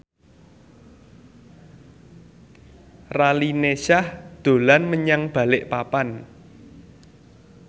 Raline Shah dolan menyang Balikpapan